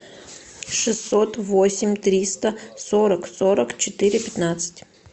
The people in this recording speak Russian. шестьсот восемь триста сорок сорок четыре пятнадцать